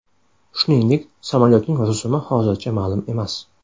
Shuningdek, samolyotning rusumi hozircha ma’lum emas.